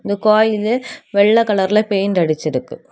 இந்த கோவிலு வெள்ளை கலர்ல பெயிண்ட் அடிச்சிருக்கு.